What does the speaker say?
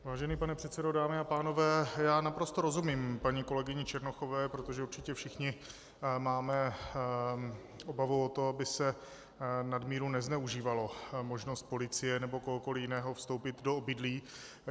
Vážený pane předsedo, dámy a pánové, já naprosto rozumím paní kolegyni Černochové, protože určitě všichni máme obavu o to, aby se nadmíru nezneužívala možnost policie nebo kohokoli jiného vstoupit do obydlí.